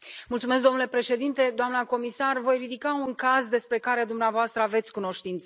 Domnule președinte, doamna comisar, voi ridica un caz despre care dumneavoastră aveți cunoștință.